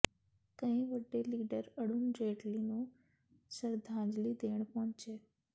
ਕਈ ਵੱਡੇ ਲੀਡਰ ਅਰੁਣ ਜੇਤਲੀ ਨੂੰ ਸ਼ਰਧਾਂਜਲੀ ਦੇਣ ਪਹੁੰਚੇ